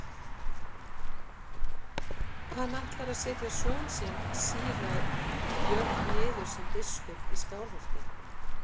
Og hann ætlar að setja son sinn síra Björn niður sem biskup í Skálholti.